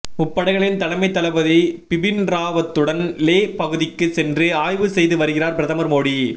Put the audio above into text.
முப்படைகளின் தலைமை தளபதி பிபின்ராவத்துடன் லே பகுதிக்கு சென்று ஆய்வு செய்து வருகிறார் பிரதமர் மோடி